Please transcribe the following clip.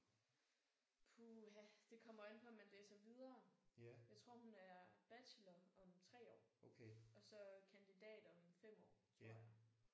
Puha det kommer jo an på om man læser videre. Jeg tror hun er bachelor om 3 år og så kandidat om en 5 år tror jeg